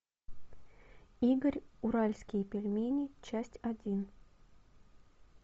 игорь уральские пельмени часть один